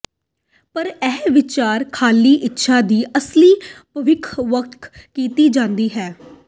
ਪਰ ਇਹ ਵਿਚਾਰ ਖਾਲੀ ਇੱਛਾ ਦੀ ਅਸਲੀ ਭਵਿੱਖ ਵੱਖ ਕੀਤਾ ਜਾਣਾ ਚਾਹੀਦਾ ਹੈ